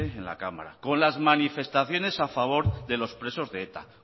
en la cámara con las manifestaciones a favor de los presos de eta